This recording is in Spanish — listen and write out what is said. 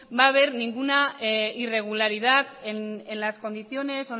va a haber ninguna irregularidad en las condiciones